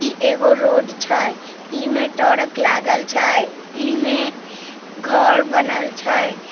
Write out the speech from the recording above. ई एगो रोड छै इमे ट्रक लागल छै इमे घर बनल छै।